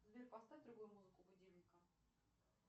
сбер поставь другую музыку будильника